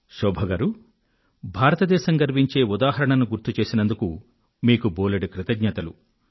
శోభ గారూ భారతదేశం గర్వించే ఉదాహరణను గుర్తు చేసినందుకు మీకు బోలెడు ధన్యవాదాలు